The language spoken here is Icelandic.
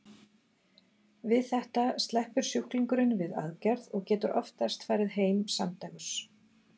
Við þetta sleppur sjúklingurinn við aðgerð og getur oftast farið heim samdægurs.